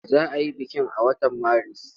Za a yi bikin a watan Maris?